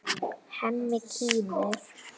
Hemmi kímir.